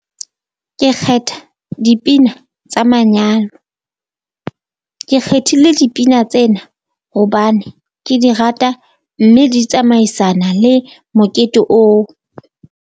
Ke kgetha dipina tsa manyalo, ke kgethile dipina tsena hobane ke di rata mme di tsamaisana le mokete oo.